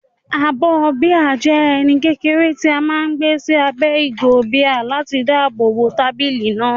Abọ́ bíà jẹ́ ẹní kékeré tí a máa ń gbé sí abẹ́ ìgò bíà láti dáàbò bo tábìlì náà.